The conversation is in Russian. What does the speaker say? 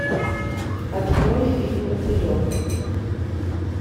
открой фильм мотылек